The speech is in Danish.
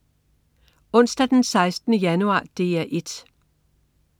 Onsdag den 16. januar - DR 1: